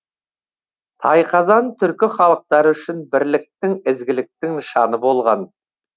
тайқазан түркі халықтары үшін бірліктің ізгіліктің нышаны болған